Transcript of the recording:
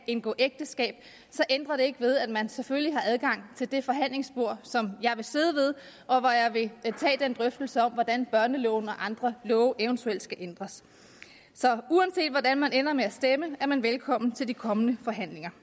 indgå ægteskab ændrer det ikke ved at man selvfølgelig har adgang til det forhandlingsbord som jeg vil sidde ved og hvor jeg vil tage den drøftelse om hvordan børneloven og andre love eventuelt skal ændres så uanset hvordan man ender med at stemme er man velkommen til de kommende forhandlinger